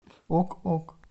ок ок